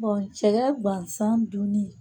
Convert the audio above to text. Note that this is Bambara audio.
cɛkɛ gansan dunni